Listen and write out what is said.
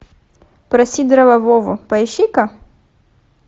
про сидорова вову поищи ка